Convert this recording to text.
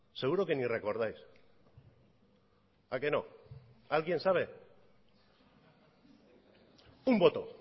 seguro que ni recordáis a que no alguien sabe un voto